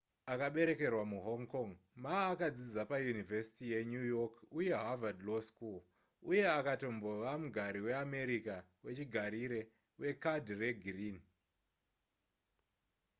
akaberekerwa muhonh kong ma akadzidza payunivhesiti yenew york uye harvad law school uye akatombova mugari weamerica wechigarire wekadhi regirini